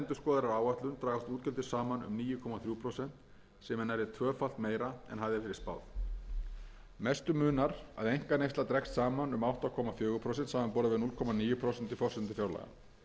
er nærri tvöfalt meira en hafði verið spáð mestu munar að einkaneysla dregst saman um átta komma fjögur prósent samanborið við núll komma níu prósent í forsendum fjárlaga